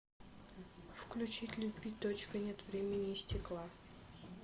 включить любви точка нет времени и стекла